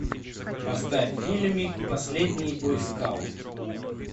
поставь фильмик последний бойскаут